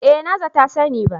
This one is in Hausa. Eh na za ta sani ba